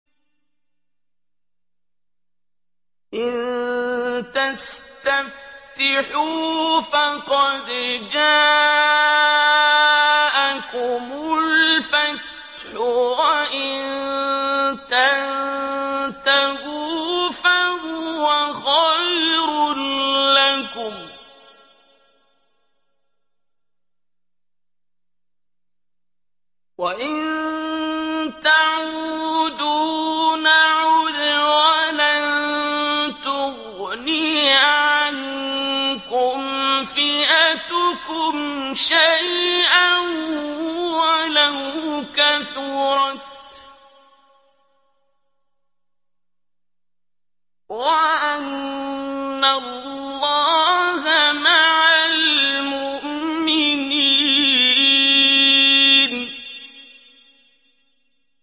إِن تَسْتَفْتِحُوا فَقَدْ جَاءَكُمُ الْفَتْحُ ۖ وَإِن تَنتَهُوا فَهُوَ خَيْرٌ لَّكُمْ ۖ وَإِن تَعُودُوا نَعُدْ وَلَن تُغْنِيَ عَنكُمْ فِئَتُكُمْ شَيْئًا وَلَوْ كَثُرَتْ وَأَنَّ اللَّهَ مَعَ الْمُؤْمِنِينَ